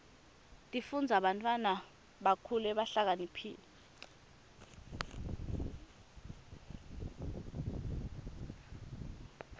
tifundzisa bantwana bakhule behlakaniphile